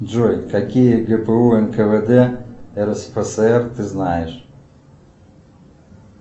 джой какие гпу нквд рсфср ты знаешь